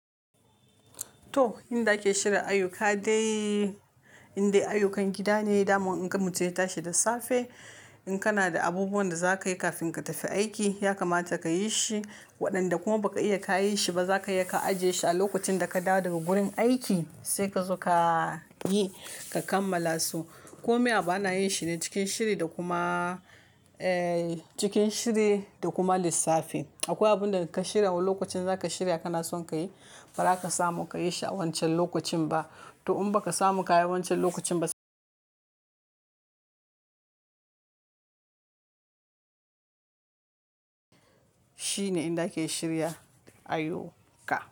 To, inda ake shirya ayuka dai inda ayukan gida ne, daman in ka mutu ya tashi da safe. In kana da abubuwan da za ka yi kafin ka tafi aiki, ya kamata ka yi shi. Waɗanda kuma ba ka iya ka yi shi ba, za ka iya ka ajiye shi a lokacin da ka dawo daga gurin aiki, sai ka zo ka yi ka kammala su. Ko me abu ana yin shi ne cikin shiri da kuma, eh cikin shiri da kuma lissafi. Akwai abun da in ka shirya wani lokacin za ka shirya kana son ka yi, ba za ka samu ka yi shi a wancan lokacin ba. To in ba ka samu ka yi wancan lokacin ba, shine inda ake shirya ayuka.